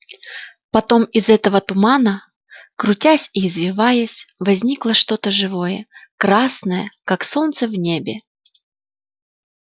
потом из этого тумана крутясь и извиваясь возникло что то живое красное как солнце в небе